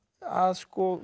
að